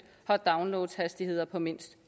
har downloadhastigheder på mindst